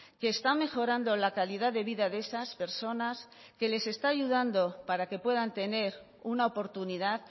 que está mejorando la calidad de vida de esas personas que les está ayudando para que puedan tener una oportunidad